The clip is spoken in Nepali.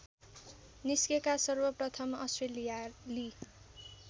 निस्केका सर्वप्रथम अस्ट्रेलियाली